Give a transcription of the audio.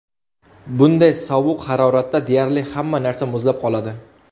Bunday sovuq haroratda deyarli hamma narsa muzlab qoladi.